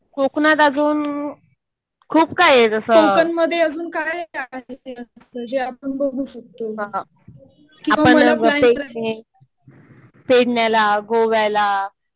कोकणात अजून खूप काही आहे. जसं आपण पेडण्याला, गोव्याला